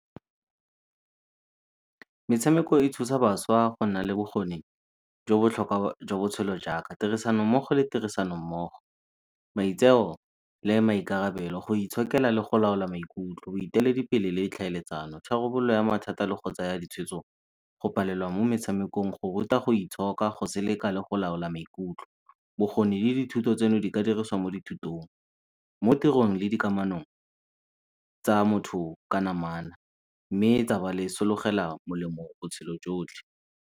Metshameko e thusa bašwa ka go nna le bokgoni jo botlhokwa jwa botshelo jaaka tirisanommogo le tirisanommogo, maitseo le maikarabelo, go itshokela le go laola maikutlo, boeteledipele le ditlhaeletsano, tharabololo ya mathata le go tsaya ditshwetso, go palelwa mo metshamekong, go ruta go itshoka, go seleka le go laola maikutlo. Bokgoni le dithuto tseno bo ka dirisiwa mo dithutong mo tirong le dikamanong tsa motho ka namana mme tsa ba le sologela molemo botshelo jotlhe.